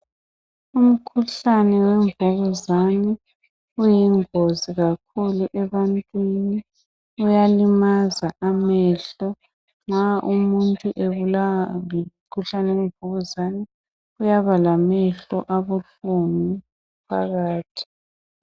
Umkhuhlane wemvukuzane uyingozi kakhulu ebantwini. Uyalimaza amehlo. Nxa umuntu ebulawa ngumkhuhlane wemvukuzane uyaba lamehlo abuhlungu phakathi.